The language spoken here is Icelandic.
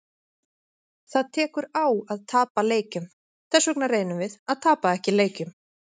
Það tekur á að tapa leikjum, þessvegna reynum við að tapa ekki leikjum.